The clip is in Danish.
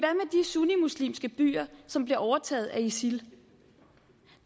sunnimuslimske byer som bliver overtaget af isil